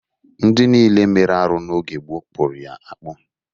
Ndị niile mere arụ n'oge gboo kpụrụ ya akpụ.